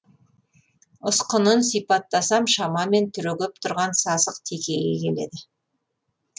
ұсқынын сипаттасам шамамен түрегеп тұрған сасық текеге келеді